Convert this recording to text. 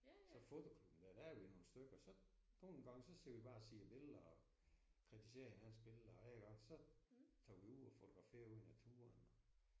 Så fotoklubben der der er vi nogle stykker så nogle gange så sidder vi bare og ser billeder og kritiserer hinandens billeder ik og så tager vi ud og fotograferer ude i naturen